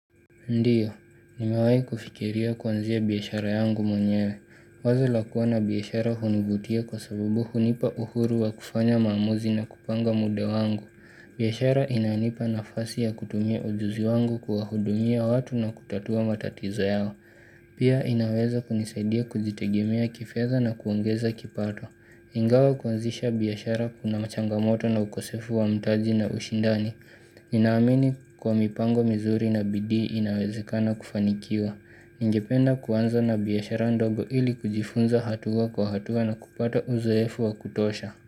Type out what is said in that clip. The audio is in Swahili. Ndiyo, nimawai kufikiria kuanzia bihashara yangu mwenyewe. Wazo la kuwa na bihashara hunivutia kwa sabubu hunipa uhuru wa kufanya mamuzi na kupanga muda wangu. Bihashara inayonipa nafasi ya kutumie ujuzi wangu kuwahudumia watu na kutatua matatiza yao. Pia inaweza kunisadia kujitegemea kifedha na kuongeza kipato. Ingawa kuanzisha bihashara kuna machanga moto na ukosefu wa mtaji na ushindani. Ninaamini kwa mipango mizuri na bidii inawezekana kufanikiwa Ningependa kuanza na bihashara ndogo ili kujifunza hatua kwa hatua na kupata uzoefu wa kutosha.